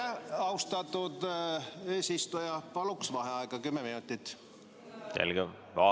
Austatud eesistuja, paluksin kümme minutit vaheaega!